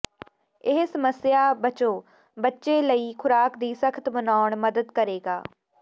ਇਹ ਸਮੱਸਿਆ ਬਚੋ ਬੱਚੇ ਲਈ ਖ਼ੁਰਾਕ ਦੀ ਸਖਤ ਮਨਾਉਣ ਮਦਦ ਕਰੇਗਾ